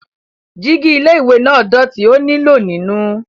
Jígí ilé-ìwẹ̀ náà dọ̀tí, ó nílò nínù.